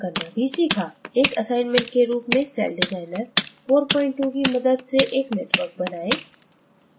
एक assignment के रूप में सेलडिज़ाइनर 43 की मदद से एक network बनाएँ